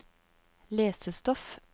lesestoff